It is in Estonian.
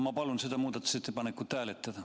Ma palun seda muudatusettepanekut hääletada.